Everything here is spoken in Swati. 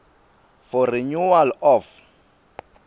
for renewal of